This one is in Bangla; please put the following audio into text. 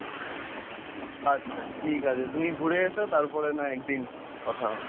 আচ্ছা ঠিক আছে তুমি ঘুরে এসো তারপরে না হয় একদিন কথা হবে।